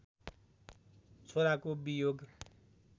छोराको वियोग